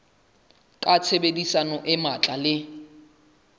ka tshebedisano e matla le